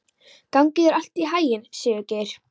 Gangi þér allt í haginn, Sigurgeir.